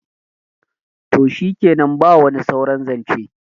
to shikenan ba wani sauran zance